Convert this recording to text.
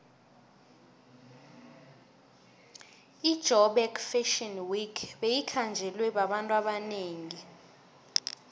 ijoburg fashion week beyikhanjelwe babantu abanengi